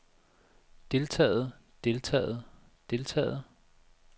deltaget deltaget deltaget